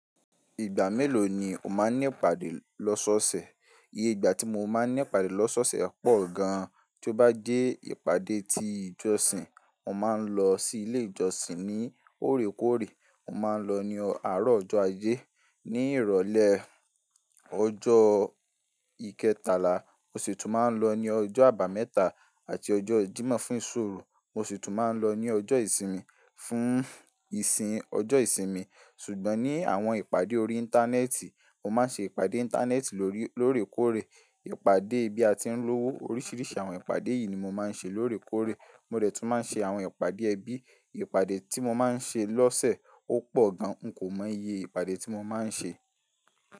Ìgbà mélòó ni o máa ń ní ìpàdé lọ́sọ́ọ̀ọ̀sẹ̀? Iye ìgbà tí mo máa ń ní ìpàdé lọ́sọ́ọ̀ọ̀sẹ̀ pọ̀ gan. Tí ó bá jẹ́ ìpàdé ti ìjọsìn, mo máa ń lọ sí ilé ìjọsìn ní orékòrè. Mo máa ń lọ ní àárọ̀ ọjọ́ ajé, ní ìrọ̀lẹ́ ọjọ́ ìkẹtàlá. Mo sì tún máa ń lọ ní ọjọ́ àbámẹ́ta àti ọjọ́ ìdímọ̀ fún ìṣòro. Mo sì tún máa ń lọ ní ọjọ́ ìsinmi fún ìsìn ọjọ́ ìsinmi. Ṣùgbọ́n ní àwọn ìpàdé orí Íńtánẹ́ẹ̀tì, mo máa ń ṣe ìpàdé Íńtánẹ́ẹ̀tì lórèkórè. Ìpàdé bí a ti ń lówó. Oríṣìíríṣìí àwọn ìpàdé yìí ni mo máa ń ṣe lóòrèkórè. Mo dẹ̀ tún máa ń ṣe àwọn ìpàdé ẹbí. Ìpàdé tí mo máa ń ṣe lọ́sẹ̀ ó pọ̀ gan. N kò mọ iye ìpàdé tí mo máa ń ṣe.